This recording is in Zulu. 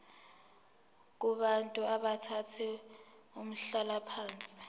kubantu abathathe umhlalaphansi